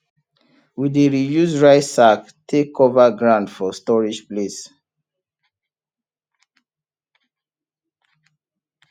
we dey reuse rice sack take cover ground for storage place